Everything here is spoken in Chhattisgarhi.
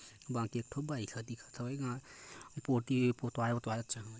बाकी एक ठो बाइक ह दिखत हवे पोती पोटवाये-ओतवाए अच्छा--